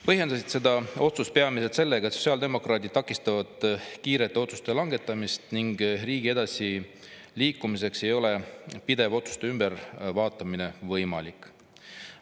Põhjendasite seda otsust peamiselt sellega, et Sotsiaaldemokraadid takistavad kiirete otsuste langetamist ning riigi edasiliikumiseks ei ole pidev otsuste ümbervaatamine võimalik.